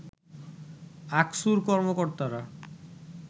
আকসুর কর্মকর্তারা